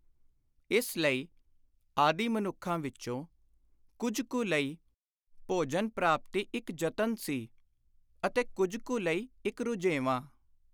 ਇਸ ਲਈ ਆਦਿ ਮਨੁੱਖਾਂ ਵਿਚੋਂ ਕੁੱਝ ਕੁ ਲਈ ਭੋਜਨ-ਪ੍ਰਾਪਤੀ ਇਕ ਯਤਨ ਸੀ ਅਤੇ ਕੁੱਝ ਕੁ ਲਈ ਇਕ ਰੁਝੇਵਾਂ।